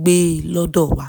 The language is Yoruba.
gbé lọ́dọ́ wa